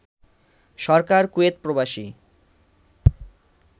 সরকার Kuwait প্রবাসী